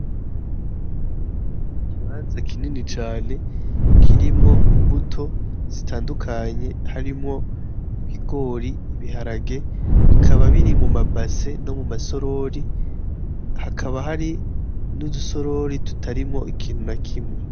Ikibanza kinini cane kirimwo imbuto zitandukanye harimwo ibigori, ibiharage bikaba biri muma base no muma sorori hakaba hari n'udu sorori tutarimwo ikintu na kimwe.